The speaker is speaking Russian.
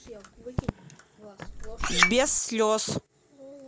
без слез